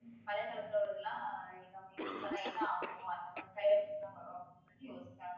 பழைய காலத்துல உள்ளதெல்லாம் நம்ம use பண்ணா என்ன ஆகுமோ அந்த மாதிரி side effects லாம் வரும் அப்படின்னு சொல்லிட்டு யோசிக்கறாங்க